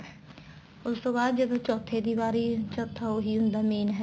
ਉਸ ਤੋ ਬਾਅਦ ਜਦੋਂ ਚੋਥੇ ਦੀ ਵਾਰੀ ਚੋਥਾ ਉਹੀ ਹੁੰਦਾ main head